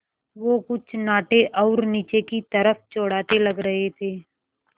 वो कुछ नाटे और नीचे की तरफ़ चौड़ाते लग रहे थे